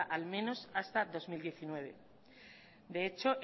al menos hasta dos mil diecinueve de hecho